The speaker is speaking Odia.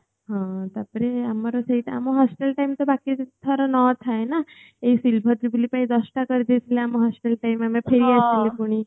ହଁ ତାପରେ ଆମର ସେଇଟା ଆମ hostel time ତ ବାକି ଦି ଥର ନଅ ଥାଏ ନା ଏ silver jubilee ପାଇଁ ଦଶଟା କରି ଦେଇଥିଲେ ଆମ hostel time ଆମେ ଫେରି ଆସୁ ଥିଲେ ପୁଣି